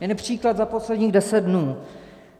Jeden příklad za posledních deset dnů.